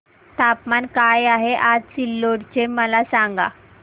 तापमान काय आहे आज सिल्लोड चे मला सांगा